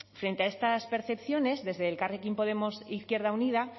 frente a estas percepciones desde elkarrekin podemos izquierda unida